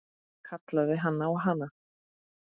Kallaði á hana.